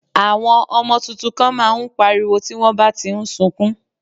Àwọn ọmọ tuntun kan má a ń pariwo tí wọ́n bá ti ń sukún